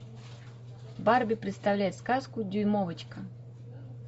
барби представляет сказку дюймовочка